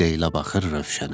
Leyla baxır Rövşənə.